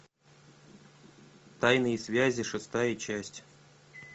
тайные связи шестая часть